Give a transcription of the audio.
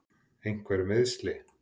Einhver meiðsli?